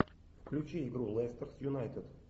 включи игру лестер с юнайтед